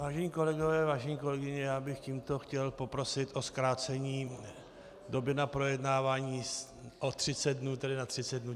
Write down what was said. Vážené kolegyně, vážení kolegové, já bych tímto chtěl poprosit o zkrácení doby na projednávání o 30 dnů, tedy na 30 dnů.